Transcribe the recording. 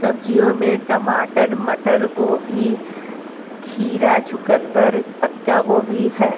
सब्जियों मे टमाटर मटर गोभी खीरा चुकंदर पत्ता गोभी है।